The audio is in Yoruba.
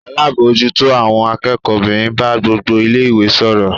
Alábòójútó àwọn akẹ́kọ̀ọ́ obìnrin bá gbogbo ilé-ìwé sọ̀rọ̀.